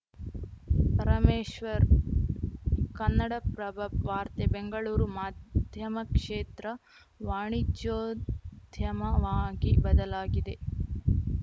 ಪರಮೇಶ್ವರ್‌ ಕನ್ನಡಪ್ರಭ ವಾರ್ತೆ ಬೆಂಗಳೂರು ಮಾಧ್ಯಮ ಕ್ಷೇತ್ರ ವಾಣಿಜ್ಯೋದ್ಯಮವಾಗಿ ಬದಲಾಗಿದೆ